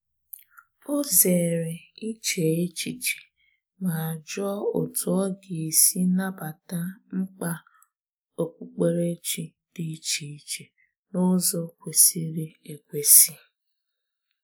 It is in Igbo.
Ọ zere iche echiche ma jụọ otú ọ ga-esi nabata mkpa okpukperechi dị iche iche n’ụzọ kwesịrị ekwesị.